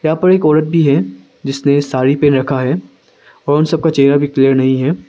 यहां पे एक औरत भी है जिसने साड़ी पहन रखा है और उन सबका चेहरा भी क्लियर नहीं है।